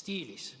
stiilis.